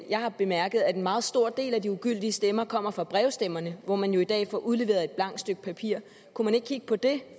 jeg har bemærket at en meget stor del af de ugyldige stemmer kommer fra brevstemmerne hvor man jo i dag får udleveret et blankt stykke papir kunne man ikke kigge på det